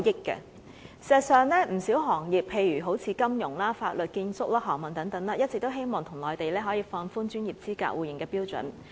事實上，不少行業，例如金融、法律、建築、航運等，一直希望內地可以放寬專業資格互認的標準。